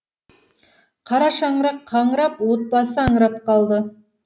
қара шаңырақ қаңырап отбасы аңырап қалды